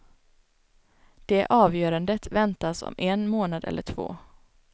Det avgörandet väntas om en månad eller två.